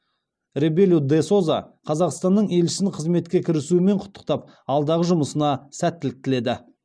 ребелу де соза қазақстанның елшісін қызметке кірісуімен құттықтап алдағы жұмысына сәттілік тіледі